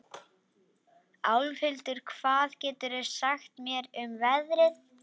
Álfhildur, hvað geturðu sagt mér um veðrið?